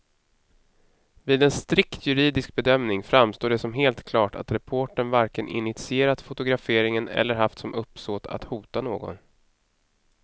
Vid en strikt juridisk bedömning framstår det som helt klart att reportern varken initierat fotograferingen eller haft som uppsåt att hota någon.